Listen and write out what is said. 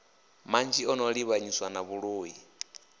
manzhi ano livhanyiswa na vhuloi